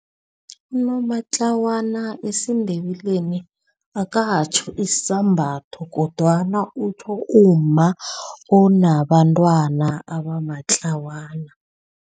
Unomatlawana esiNdebeleni akatjho isambatho kodwana utjho umma onabantwana abamatlawana.